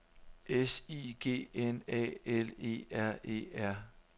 S I G N A L E R E R